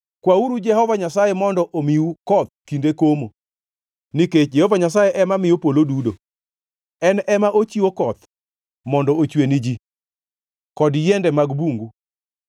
Kwauru Jehova Nyasaye mondo omiu koth kinde komo; nikech Jehova Nyasaye ema miyo polo dudo. En ema ochiwo koth mondo ochwe ni ji kod yiende mag bungu.